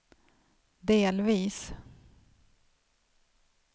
delvis